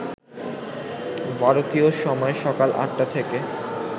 ভারতীয় সময় সকাল আটটা থেকে